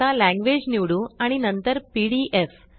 आता languageलॅंग्वेज निवडू आणि नंतर पीडीएफ